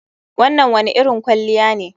Wannan wane irin kwalliya ne